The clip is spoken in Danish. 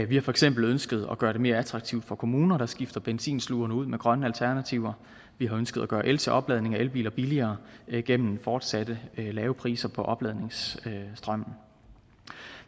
vi har for eksempel ønsket at gøre det mere attraktivt for kommuner at skifte benzinslugerne ud med grønne alternativer vi har ønsket at gøre el til opladning af elbiler billigere gennem fortsatte lave priser på opladningsstrømmen